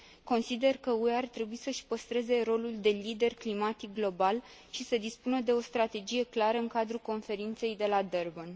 Consider că UE ar trebuie să își păstreze rolul de lider climatic global și să dispună de o strategie clară în cadrul conferinței de la Durban.